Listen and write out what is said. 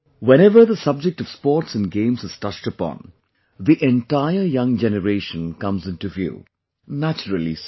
whenever the subject of Sports and Games is touched upon, the entire young generation comes into view; naturally so